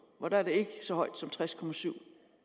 for der er den ikke så høj som tres procent